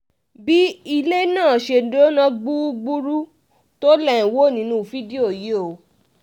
bí ilé náà ṣe jóná gbúgbúrú tó lè ń wó nínú fídíò yìí o